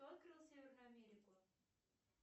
кто открыл северную америку